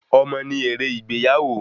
Ọmọ ni èrè ìgbéyàwó